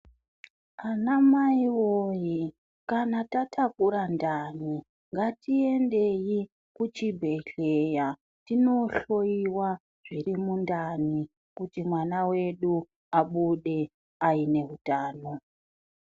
Anamai woye kana tatakura ndani ngatiyendeyi kuchibhehleya tinohloyiwa zviri mundani kuti mwan wedu abude aine hutano.